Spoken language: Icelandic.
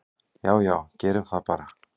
"""Já já, gerum það bara."""